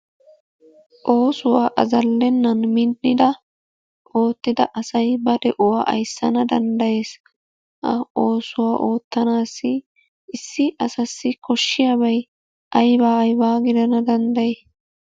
Oosuwa azalenaan minidda oottida asay ba de'uwa ayssana danddayees. Oosuwa oottanaassi issi asassi koshiyabay ayba ayba gidana danddayi?